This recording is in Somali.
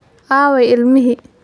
aaway ilmihii